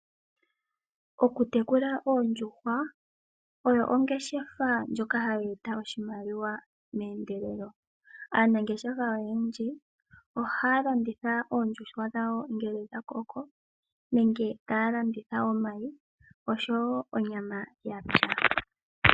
Oku tekula oondjuhwa, oyo ongeshefa ndjoka ha yi eta oshimaliwa, aanangeshefa oyendji, oha ya landutha oondjuhwa dhawo ngele dha koko, nenge ta ya landitha omayi, osho wo onyama yapya.